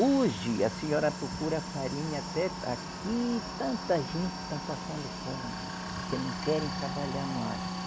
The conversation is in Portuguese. Hoje, a senhora procura farinha até... Aqui, tanta gente está passando fome, porque não querem trabalhar mais.